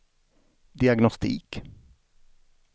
diagnostik